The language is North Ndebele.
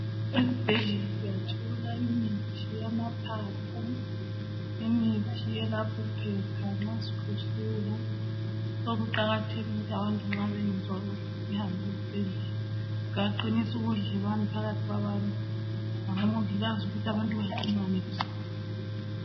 Ezibhedlela siyathola imithi yamaphaphu imithi eyalapha iphepha nxa sikhwehlela. So kuqakathekile ukuthi abantu nxa bengezwa kuhle sihambe esibhedlela kuyaqinisa ubudlelwano phakathi kabantu labomongikazi ukuthi abantu baxhumane lesibhedlela.